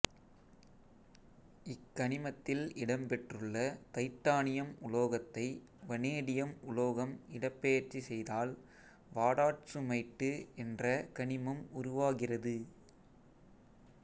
இக்கனிமத்தில் இடம்பெற்றுள்ள தைட்டானியம் உலோகத்தை வனேடியம் உலோகம் இடப்பெயர்ச்சி செய்தால் வாடாட்சுமைட்டு என்ற கனிமம் உருவாகிறது